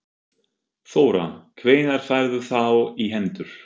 Þóra: Hvenær færðu þá í hendur?